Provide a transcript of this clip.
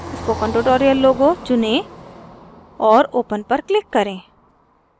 spoken tutorial logo चुनें और open पर click करें